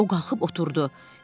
O qalxıb oturdu.